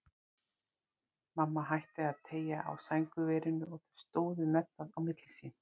Mamma hætti að teygja á sængurverinu og þau stóðu með það á milli sín.